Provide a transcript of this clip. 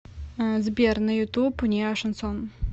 сбер на ютуб неошансон